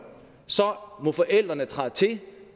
så må forældrene træde til det